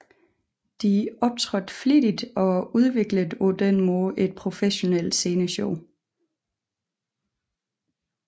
De optrådte flittigt og udviklede på den måde et professionelt sceneshow